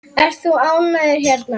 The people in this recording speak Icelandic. Ert þú ánægður hérna?